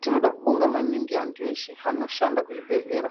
Tinoda kubonga maningi antu eshe anoshanda kuzvibhedhlera.